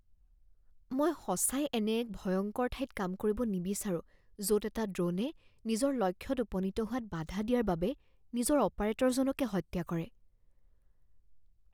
মই সঁচাই এনে এক ভয়ংকৰ ঠাইত কাম কৰিব নিবিচাৰোঁ য'ত এটা ড্ৰ'নে নিজৰ লক্ষ্যত উপনীত হোৱাত বাধা দিয়াৰ বাবে নিজৰ অপাৰেটৰজনকে হত্যা কৰে।